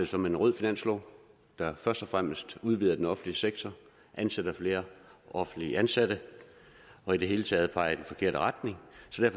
som en rød finanslov der først og fremmest udvider den offentlige sektor ansætter flere offentligt ansatte og i det hele taget peger i den forkerte retning